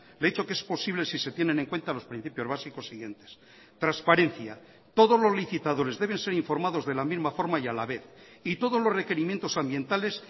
le he dicho que es posible si se tienen en cuenta los principios básicos siguientes transparencia todos los licitadores deben ser informados de la misma forma y a la vez y todos los requerimientos ambientales